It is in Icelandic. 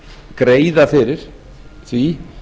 greiða fyrir því